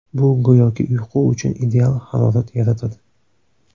Bu go‘yoki uyqu uchun ideal harorat yaratadi.